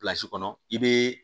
kɔnɔ i be